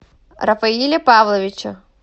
рафаиля павловича